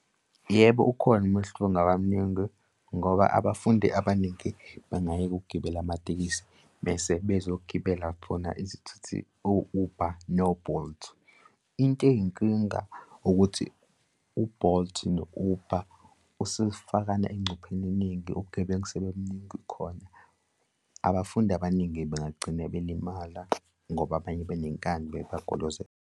Yebo, ukhona umehluko ongaba muningi ngoba abafundi abaningi bengayeka ukugibela amatekisi bese bezogibela khona izithuthi o-Uber no-Bolt. Into eyinkinga ukuthi u-Bolt no-Uber usufakana engcupheni eningi ubugebengu sebubaningi khona abafundi abaningi bengagcine belimala ngoba abanye banenkani bepaquluze.